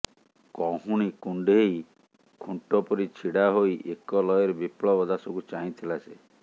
କହୁଣି କୁଣ୍ଢେଇ ଖୁଣ୍ଟ ପରି ଛିଡ଼ା ହୋଇ ଏକଲୟରେ ବିପ୍ଳବ ଦାସକୁ ଚାହିଁଥିଲା ସେ